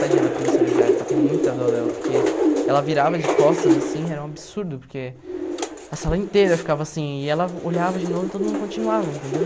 Tadinha da professora de artes, eu tenho muita dó dela, porque ela virava de costas assim, era um absurdo, porque a sala inteira ficava assim, e ela olhava de novo e todo mundo continuava, entendeu?